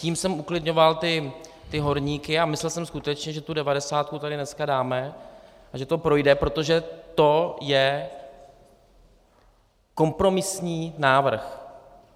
Tím jsem uklidňoval ty horníky a myslel jsem skutečně, že tu devadesátku tady dneska dáme a že to projde, protože to je kompromisní návrh.